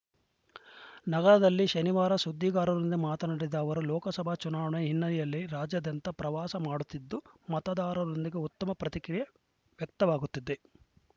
ನಗರದಲ್ಲಿ ಶನಿವಾರ ಸುದ್ದಿಗಾರರೊಂದಿಗೆ ಮಾತನಾಡಿದ ಅವರು ಲೋಕಸಭಾ ಚುನಾವಣೆ ಹಿನ್ನೆಲೆಯಲ್ಲಿ ರಾಜ್ಯಾದ್ಯಂತ ಪ್ರವಾಸ ಮಾಡುತ್ತಿದ್ದು ಮತದಾರರೊಂದಿಗೆ ಉತ್ತಮ ಪ್ರತಿಕ್ರಿಯೆ ವ್ಯಕ್ತವಾಗುತ್ತಿದೆ